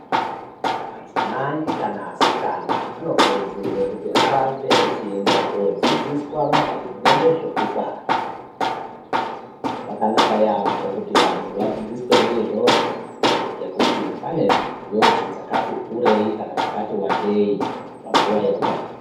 Madzimai kana asikana, anokurudzirwe kuti arambe achienda koodzidziswa maringe nezvekubara. Zvakanaka yaampho kuti vanthu vadzidziswe ngeizvozvo, ngekuti pane njodzi dzakati kurei, kana dzakati wandei panguwa yekubara.